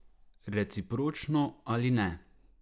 Recipročno ali ne.